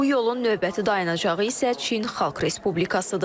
Bu yolun növbəti dayanacağı isə Çin Xalq Respublikasıdır.